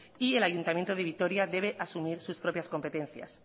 y el ayuntamiento de vitoria debe asumir sus propias competencias